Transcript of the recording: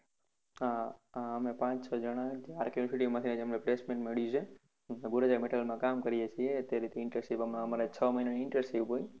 હા હા અમે પાંચ છ જણા RK university માંથી અમને placement મળ્યું છે gorecha metal કામ કરીએ છીએ છ મહિના ની internship હોય